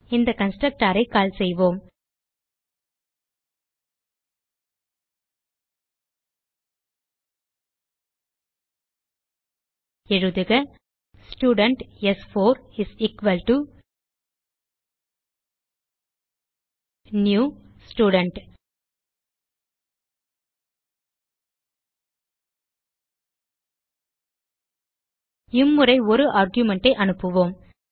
இந்த constructorஐ கால் செய்வோம் எழுதுக ஸ்டூடென்ட் ஸ்4 இஸ் எக்வால்ட்டோ நியூ ஸ்டூடென்ட் இம்முறை ஒரு ஆர்குமென்ட் ஐ அனுப்புவோம்